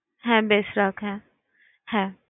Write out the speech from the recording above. হ্যাঁ বেশ রাখ হ্যাঁ হ্যাঁ।